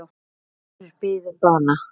Fjórir biðu bana.